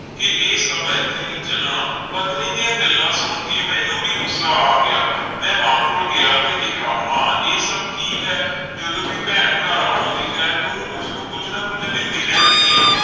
ਕਿ ਇਹ ਸਭ ਇੱਥੇ ਨਹੀਂ ਚੱਲਣਾ, ਪਤਨੀ ਦੀਆਂ ਗੱਲਾਂ ਸੁਣ ਕੇ ਮੈਨੂੰ ਵੀ ਗੁੱਸਾ ਆ ਗਿਆ ਮੈਂ ਮਾਂ ਕੋਲ ਗਿਆ ਤੇ ਕਿਹਾ ਮਾਂ ਇਹ ਸਭ ਕੀ ਹੈ ਜਦੋਂ ਵੀ ਭੈਣ ਘਰ ਆਉਂਦੀ ਹੈ ਤੂੰ ਉਸਨੂੰ ਕੁੱਝ ਨਾ ਕੁੱਝ ਦਿੰਦੀ ਰਹਿਨੀ ਹੈ,